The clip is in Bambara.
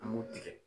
An b'o tigɛ